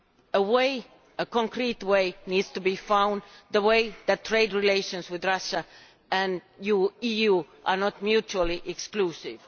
A way, a concrete way, needs to be found the way that trade relations with Russia and the EU are not mutually exclusive.